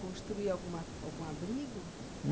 Construía alguma, algum abrigo?